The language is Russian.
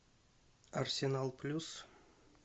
арсенал плюс